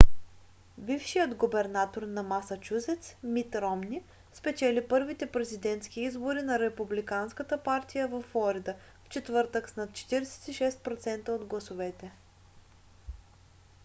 бившият губернатор на масачузец мит ромни спечели първите президентски избори на републиканската партия във флорида в четвъртък с над 46% от гласовете